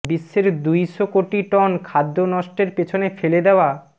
বিশ্বের দুইশ কোটি টন খাদ্য নষ্টের পেছনে ফেলে দেওয়া